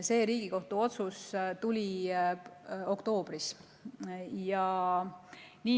See Riigikohtu otsus tuli oktoobris.